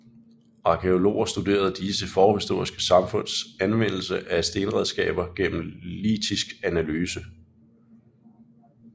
Arkæologer studerer disse forhistoriske samfunds anvendelse af stenredskaber gennem litisk analyse